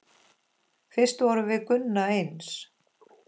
Fyrst vorum við Gunna eins.